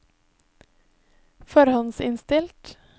forhåndsinnstilt